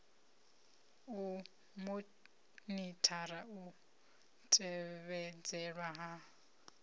u monithara u tevhedzelwa ha